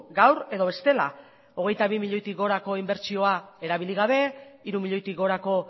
gaur edo bestela hogeita bi milioitik gorako inbertsioa erabili gabe hiru milioitik gorako